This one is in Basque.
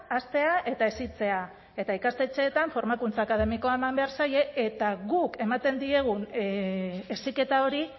haztea eta hezitzea eta ikastetxeetan formakuntza akademikoa eman behar zaie eta guk ematen diegun heziketa hori